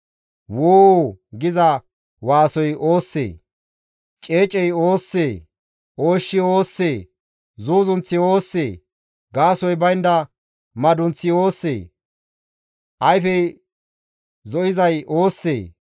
«Woo!» giza waasoy oossee? Ceecey oossee? Ooshshi oossee? Zuuzunththi oossee? Gaasoykka baynda madunththi oossee? Ayfey zo7izay oossee?